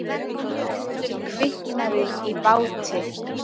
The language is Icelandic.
Eldur kviknaði í báti